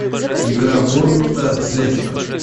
игра борнмута с лестером